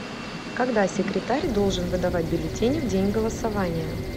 когда секретарь должен выдавать бюллетени в день голосования